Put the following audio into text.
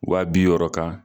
Wa bi wɔɔrɔ kan.